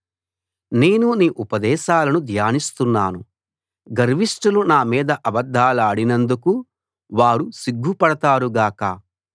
నేను నీ ఉపదేశాలను ధ్యానిస్తున్నాను గర్విష్ఠులు నామీద అబద్ధాలాడినందుకు వారు సిగ్గుపడతారు గాక